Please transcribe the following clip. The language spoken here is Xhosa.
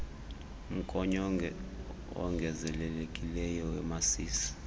mgonyo wongezelelekileyo wemasisi